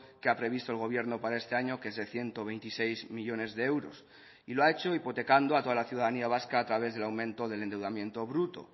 que ha previsto el gobierno para este año que es de ciento veintiséis millónes de euros y lo ha hecho hipotecando a toda la ciudadanía vasca a través del aumento del endeudamiento bruto